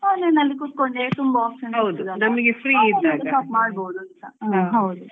Online ಅಲ್ಲಿ ಕುತ್ಕೊಂಡೇ ತುಂಬಾ options ಇರ್ತದಲ್ವಾ